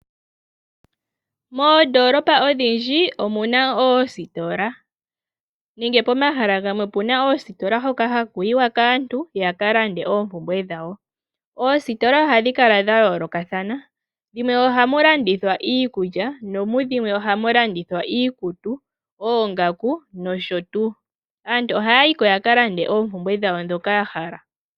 Moondolopa odhindji omu na oositola nenge pomahala gamwe opu na oositola hoka haku yiwa kaantu ya ka lande oompumbwe dhawo. Oositola ohadhi kala dha yoolokathana dhimwe oha mu landithwa iikulya nomudhimwe oha mu landithwa iikutu, oongaku nosho tuu. Aantu ohaya yi ko ya ka lande oompumbwe dhawo ndhoka ya hala.